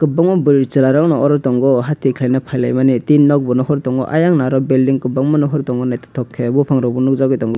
boma burui cherai rokno aro tango hati khelaina pailai mani tin nog bo nohor tango ayan naro bilding kobangma nohor tango naitotok ke bopang rok bo nokjagui tango.